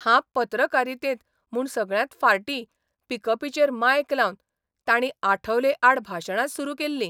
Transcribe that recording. हांब पत्रकारितेंत म्हूण सगळ्यांत फाटीं पिकपीचेर मायक लावन तांणी आठवले आड भाशणां सुरू केल्ली .